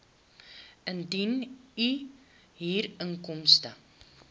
indien u huurinkomste